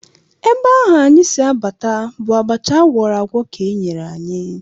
Ebe ahụ anyị si abata bụ abacha a gwọrọ agwọ ka e nyere anyị